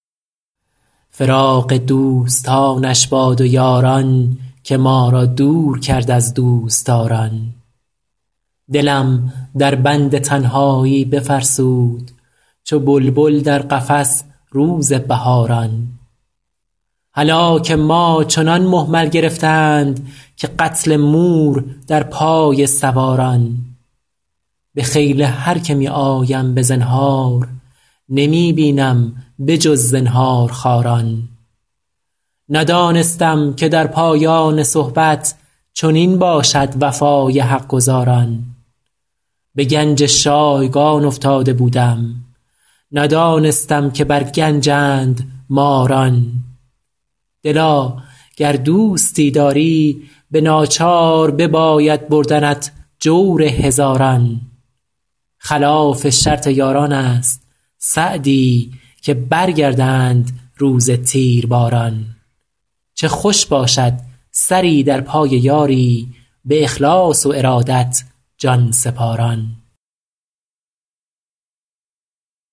فراق دوستانش باد و یاران که ما را دور کرد از دوستداران دلم در بند تنهایی بفرسود چو بلبل در قفس روز بهاران هلاک ما چنان مهمل گرفتند که قتل مور در پای سواران به خیل هر که می آیم به زنهار نمی بینم به جز زنهارخواران ندانستم که در پایان صحبت چنین باشد وفای حق گزاران به گنج شایگان افتاده بودم ندانستم که بر گنجند ماران دلا گر دوستی داری به ناچار بباید بردنت جور هزاران خلاف شرط یاران است سعدی که برگردند روز تیرباران چه خوش باشد سری در پای یاری به اخلاص و ارادت جان سپاران